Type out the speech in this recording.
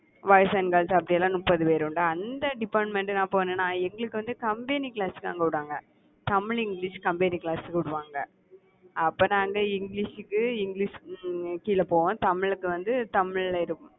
boys and girls அப்படிலாம் முப்பது பேர் உண்டா அந்த department நான் போனேன்னா எங்களுக்கு வந்து combined class தான் போடுவாங்க. தமிழ், இங்கிலிஷ் combined class போடுவாங்க, அப்ப நாங்க இங்கிலிஷுக்கு இங்கிலிஷுக்கு கீழ போவோம். தமிழ்க்கு வந்து தமிழ்ல இருக்கும்